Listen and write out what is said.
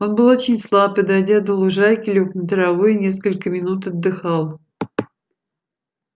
он был очень слаб и дойдя до лужайки лёг на траву и несколько минут отдыхал